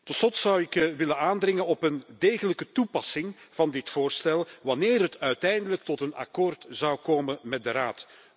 Tot slot zou ik willen aandringen op een degelijke toepassing van dit voorstel wanneer het uiteindelijk tot een akkoord zou komen met de Raad.